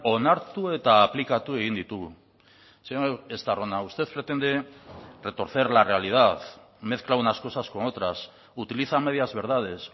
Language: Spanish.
onartu eta aplikatu egin ditugu señor estarrona usted pretende retorcer la realidad mezcla unas cosas con otras utiliza medias verdades